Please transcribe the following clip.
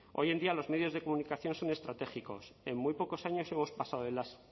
hoy en día los medios de comunicación son estratégicos en muy pocos años hemos pasado de las